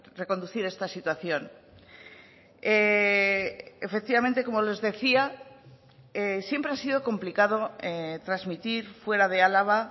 reconducir esta situación efectivamente como les decía siempre ha sido complicado transmitir fuera de álava